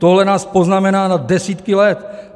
Tohle nás poznamená na desítky let.